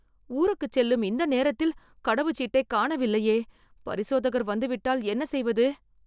ஊருக்குச் செல்லும் இந்த நேரத்தில் கடவுச்சீட்டைக் காணவில்லையே... பரிசோதகர் வந்துவிட்டால் என்ன செய்வது..